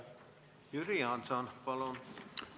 Jüri Jaanson, palun!